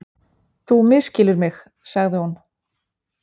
Þú misskilur mig- sagði hún.